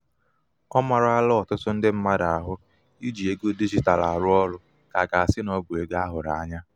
ọ marala ọtụtụ ndị mmadụ ahụ i ji ego digitalụ arụ ọrụ ka aga-asị na ọ bụ ego ahụrụ ányá.